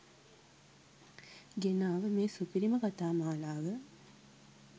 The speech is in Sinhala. ගෙනාව මේ සුපිරිම කතා මාලාව